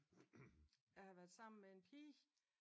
Jeg har været sammen med en pige